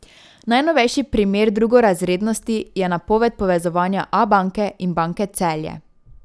Najnovejši primer drugorazrednosti je napoved povezovanja Abanke in Banke Celje.